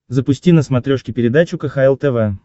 запусти на смотрешке передачу кхл тв